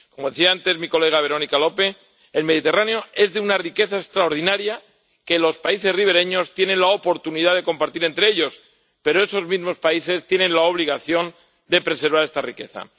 Como decía antes Verónica Lope, el Mediterráneo es de una riqueza extraordinaria que los países ribereños tienen la oportunidad de compartir, pero esos mismos países tienen la obligación de preservar esta riqueza.